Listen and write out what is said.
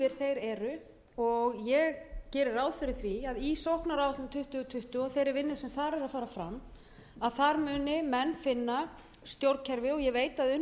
eru og ég geri ráð fyrir því að í sóknaráætlun tuttugu tuttugu og þeirri vinnu sem þar er að fara fram muni menn sinna stjórnkerfi og ég veit